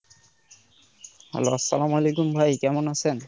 Hello আসসালামু আলাইকুম ভাই কেমন আছেন?